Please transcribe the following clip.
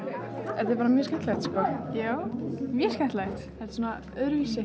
þetta er bara mjög skemmtilegt sko já mjög skemmtilegt þetta er svona öðruvísi